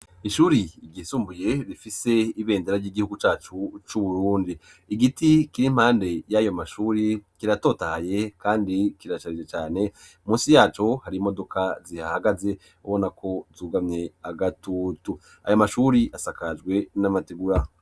Ishuri ryisumbuye bifise ibendera ry'igihugu cyacu c'uburwundi. Igiti kiri impande y'ayo mashuri kiratotahye kandi kiracarije cyane munsi yacu hari imodoka zihahagaze ubona ko zugamye agatutu ayo mashuri asakajwe n'amategura.